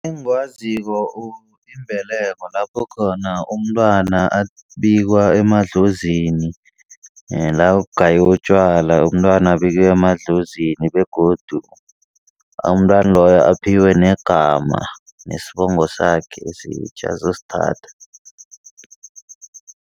Engikwaziko, imbeleko kulapho khona umntwana abikwa emadlozini. La kugayelwe notjwala umntwana abikiwe emadlozini begodu umntwana loyo aphiwe negama nesibongo sakhe esitjha azosithatha.